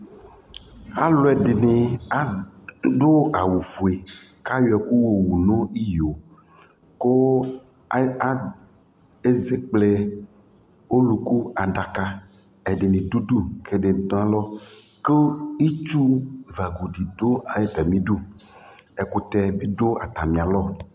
Alʋ ɛdɩnɩ az adʋ awʋfue kʋ ayɔ ɛkʋ yɔwu nʋ iyo kʋ ad a ezekple ɔlʋku adaka Ɛdɩnɩ dʋ udu kʋ ɛdɩnɩ dʋ alɔ kʋ itsu vagu dɩ dʋ atamɩdu Ɛkʋtɛ bɩ dʋ atamɩalɔ